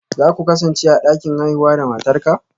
Za ku kasance a dakin haihuwa da matarka?